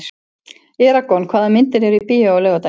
Eragon, hvaða myndir eru í bíó á laugardaginn?